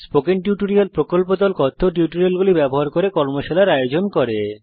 কথ্য টিউটোরিয়াল প্রকল্প দল কথ্য টিউটোরিয়াল ব্যবহার করে কর্মশালার আয়োজন করে